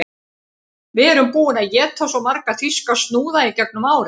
Við erum búin að éta svo marga þýska snúða í gegnum árin